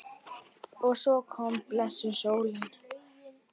Og svo kom blessuð sólin!